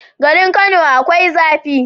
Garin kano akwai zafi